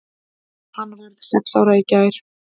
Hann varð sex ára í gær.